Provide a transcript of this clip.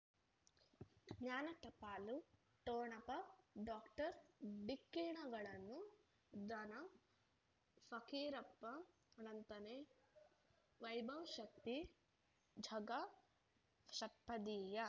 ಜ್ಞಾನ ಟಪಾಲು ಠೊಣಪ ಡಾಕ್ಟರ್ ಢಿಕ್ಕಿ ಣಗಳನು ಧನ ಫಕೀರಪ್ಪ ಳಂತಾನೆ ವೈಭವ್ ಶಕ್ತಿ ಝಗಾ ಷಟ್ಪದಿಯ